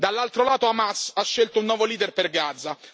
Dall'altro lato, Hamas ha scelto un nuovo leader per Gaza.